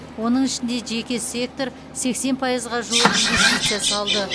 оның ішінде жеке сектор сексен пайызға жуық инвестиция салды